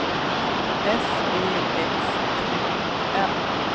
S E X T O N